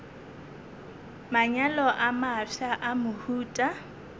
manyalo a mafsa a mohuta